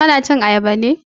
Ka na cin Ayaba ne?